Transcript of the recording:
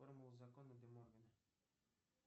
формула закона де моргана